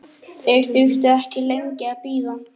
Þeir þurftu ekki lengi að bíða.